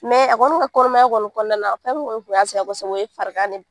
a kɔni ka kɔnɔmaya kɔni kɔnɔna na fɛn min kun y'a sɛgɛn kosɛbɛ o ye farigan ni